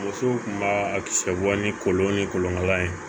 Musow kun b'a a kisɛ bɔ ni kɔlɔn ni kɔlɔnkala ye